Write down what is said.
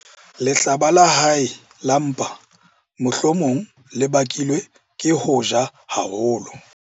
Lehlaba la hae la mpa mohlomong le bakilwe ke ho ja haholo.